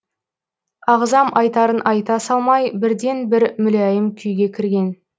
ағзам айтарын айта салмай бірден бір мүләйім күйге кірген